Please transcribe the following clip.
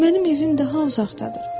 Mənim evim daha uzaqdadır.